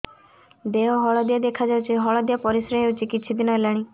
ଦେହ ହଳଦିଆ ଦେଖାଯାଉଛି ହଳଦିଆ ପରିଶ୍ରା ହେଉଛି କିଛିଦିନ ହେଲାଣି